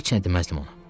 Heç nə deməzdim ona.